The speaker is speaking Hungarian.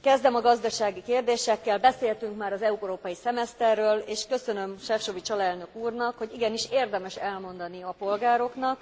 Kezdem a gazdasági kérdésekkel. Beszéltünk már az európai szemeszterről, és köszönöm Šefčovič alelnök úrnak, hogy igenis érdemes elmondani a polgároknak,